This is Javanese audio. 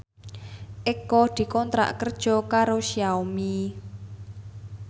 Eko dikontrak kerja karo Xiaomi